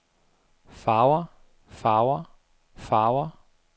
farver farver farver